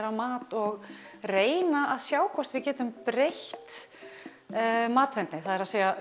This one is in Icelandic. á mat og reyna að sjá hvort við getum breytt matvendni það er